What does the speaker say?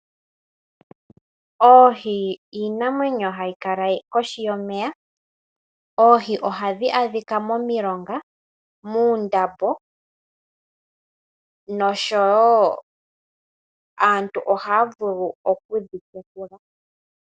Oohi odho iinamwenyo hayi kala kohi yomeya. Oohi ohadhi adhika momilonga, muundama, noshowo aantu ohaya vulu okudhi tekula.